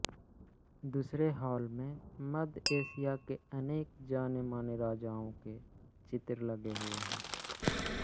दूसरे हॉल में मध्य एशिया के अनेक जानेमाने राजाओं के चित्र लगे हुए हैं